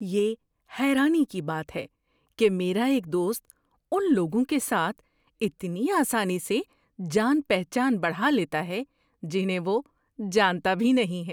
یہ حیرانی کی بات ہے کہ میرا ایک دوست ان لوگوں کے ساتھ اتنی آسانی سے جان پہچان بڑھا لیتا ہے جنہیں وہ جانتا بھی نہیں ہے۔